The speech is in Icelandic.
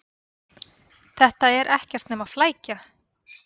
Þetta er ekkert nema flækja.